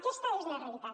aquesta és la realitat